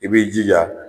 I b'i jija